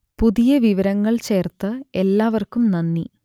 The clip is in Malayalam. പുതിയ വിവരങ്ങൾ ചേർത്ത എല്ലാവർക്കും നന്ദി